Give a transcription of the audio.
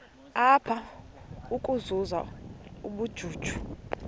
apha ukuzuza ubujuju